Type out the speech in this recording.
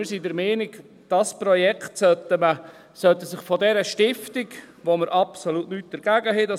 Wir sind der Meinung, dieses Projekt sollte sich von dieser Stiftung, gegen die wir absolut nichts haben ...